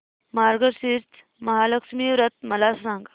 मार्गशीर्ष महालक्ष्मी व्रत मला सांग